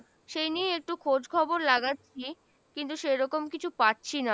সেই নিয়ে একটু খোঁজ খবর লাগাচ্ছি কিন্তু সেরকম কিছু পাচ্ছি না,